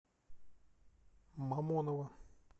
мамоново